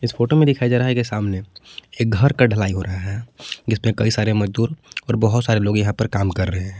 इस फोटो में दिखाया जा रहा है कि सामने एक घर का ढलाई हो रहा है जिसपे कई सारे मजदूर और बहोत सारे लोग यहां पर काम कर रहे हैं।